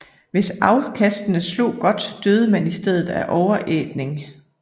Hvis afkastene slog godt døde man i stedet af overætning